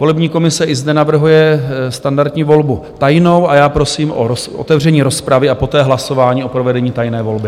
Volební komise i zde navrhuje standardní volbu tajnou a já prosím o otevření rozpravy a poté hlasování o provedení tajné volby.